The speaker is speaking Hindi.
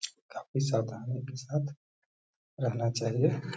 काफी ज्यादा उनके साथ रहना चाहिए।